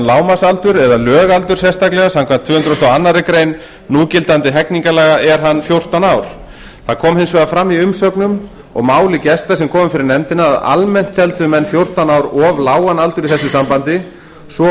lágmarksaldur eða lögaldur sérstaklega samkvæmt tvö hundruð og aðra grein núgildandi hegningarlaga er hann fjórtán ár það kom hins vegar fram í umsögnum og máli gesta sem komu fyrir nefndina að almennt teldu menn fjórtán ár of lágan aldur í þessu sambandi svo